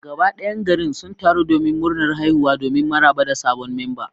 Gaba dayan garin sun taru domin murnar haihuwa domin maraba da sabon memba.